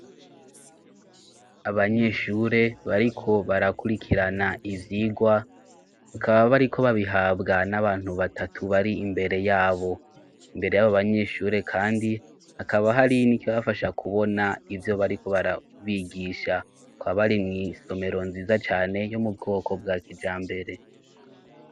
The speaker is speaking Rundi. Abanyeshure bariko barakurikirana ibyigwa bakaba bariko babihabwa n'abantu batatu bari imbere yabo imbere y'abobanyeshure kandi hakaba hari nicyo bafasha kubona ibyo bariko barabigisha kwabari mu isomero nziza cane yo mubwoko bwa kija mbere.